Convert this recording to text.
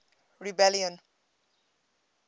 rebellion